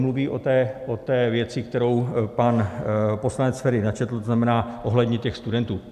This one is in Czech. Mluví o té věci, kterou pan poslanec Feri načetl, to znamená ohledně těch studentů.